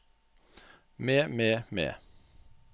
med med med